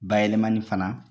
Bayɛlɛmani fana